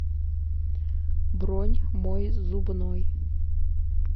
бронь мой зубной